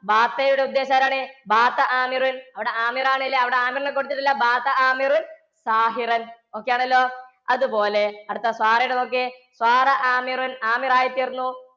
യുടെ ആരാണ്? അവടെ ആണ് ല്ലേ? അവിടെ കൊടുത്തിട്ടില്ലേ okay ആണല്ലോ? അതുപോലെ അടുത്ത ലു നോക്ക്യേ. ആയി തീര്‍ന്നു.